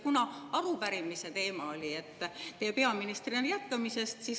Arupärimise teema oli teie peaministrina jätkamise kohta.